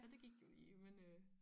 Så det gik jo i men øh